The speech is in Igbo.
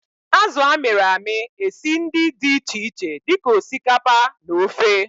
Azụ a mịrị amị esi ndi di iche iche di ka osikapa na ofe.